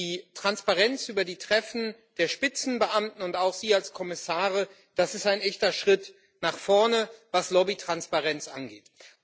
Die Transparenz über die Treffen der Spitzenbeamten und auch Sie als Kommissare, das ist ein echter Schritt nach vorne, was Lobbytransparenz angeht.